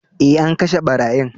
Eh, an kashe barayin.